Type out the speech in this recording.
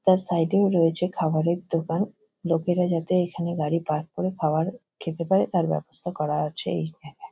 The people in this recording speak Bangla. তার সাইড -এ ও রয়েছে খাবারের দোকান। লোকেরা যাতে এইখানে গাড়ি পার্ক করে খাওয়ার খেতে পারে তার ব্যবস্থা করা আছে এইখানে।